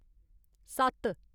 सत्त